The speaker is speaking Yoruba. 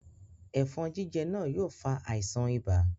Ẹ̀fọ̀n jíjẹ náà yóò fa àisàn ibà